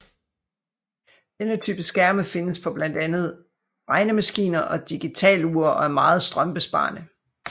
Denne type skærme findes på blandt andet på regnemaskiner og digitalure og er meget strømbesparende